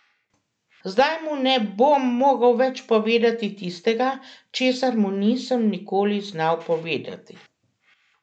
Zdaj mu ne bom mogel več povedati tistega, česar mu nisem nikoli znal povedati.